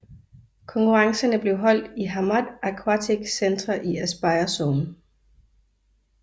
Konkurrencerne blev holdt i Hamad Aquatic Centre i Aspire Zone